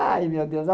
Ai, meu Deus!